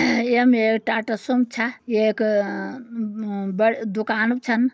य मे एक टाटा सुम छ। येक अ म बड़ दुकाणु भी छन।